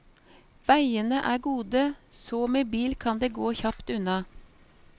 Veiene er gode, så med bil kan det gå kjapt unna.